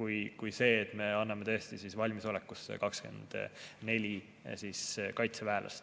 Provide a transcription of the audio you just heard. kui see, et me anname valmisolekusse 24 kaitseväelast.